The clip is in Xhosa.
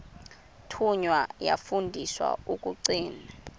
thunywa yafundiswa ukugcina